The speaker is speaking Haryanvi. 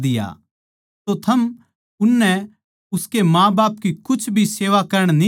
तो थम उननै उसके माँ बाप की कुछ भी सेवा करण न्ही देन्दे